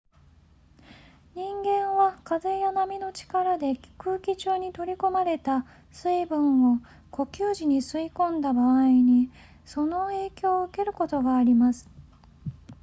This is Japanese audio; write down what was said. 人間は風や波の力で空気中に取り込まれた水分を呼吸時に吸い込んだ場合にその影響を受けることがあります